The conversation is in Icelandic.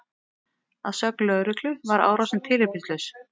Að sögn lögreglu var árásin tilefnislaus